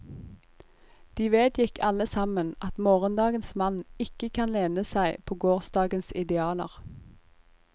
De vedgikk alle sammen at morgendagens mann ikke kan lene seg på gårsdagens idealer.